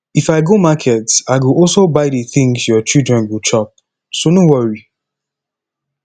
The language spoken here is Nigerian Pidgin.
if i go market i go also buy the things your children go chop so no worry